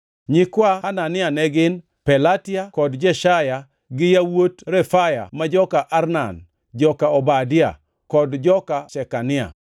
Nyikwa Hanania ne gin: Pelatia kod Jeshaya, gi yawuot Refaya ma joka Arnan, joka Obadia, kod joka Shekania.